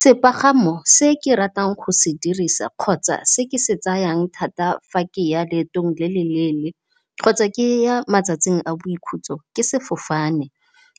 Sepagamo se ke ratang go se dirisa kgotsa se ke se tsayang thata fa ke ya leetong le le leele kgotsa ke ya matsatsing a boikhutso ke sefofane.